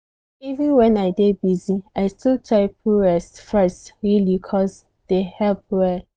even when i dey busy i still try put rest first really cos dey help well.